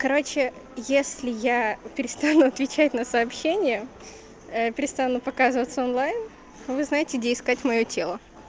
короче если я перестану отвечать на сообщения ээ перестану показываться онлайн вы знаете где искать моё тело